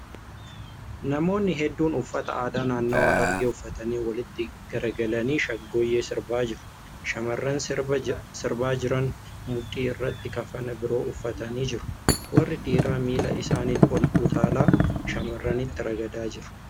Namoonni hedduun uffata aadaa naannawaa Harargee uffatanii walitti garagalanii shaggooyyee sirbaa jiru. Shamarran sirbaa jiran mudhii irratti kafana biroo uffatanii jiru. Warri dhiiraa miila isaaniin ol utaalaa shamarranitti ragadaa jiru.